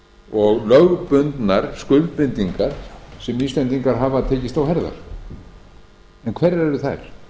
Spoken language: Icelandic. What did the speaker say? og lögbundnar skuldbindingar sem íslendingar hafa tekist á herðar en hverjar eru þær